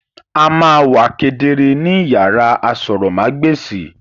A ma wa kedere ni iyàrá àsòrọmagbesi.